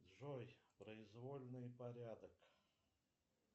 джой произвольный порядок